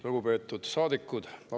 Lugupeetud saadikud!